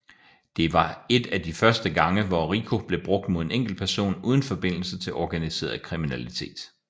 Det var et af de første gange hvor RICO blev brugt mod en enkeltperson uden forbindelse til organiseret kriminalitet